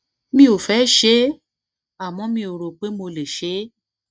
mi ò mi ò fẹ ṣe é àmọ mi ò rò pé mo lè ṣe é